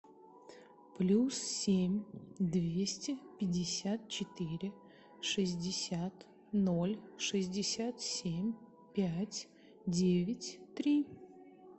плюс семь двести пятьдесят четыре шестьдесят ноль шестьдесят семь пять девять три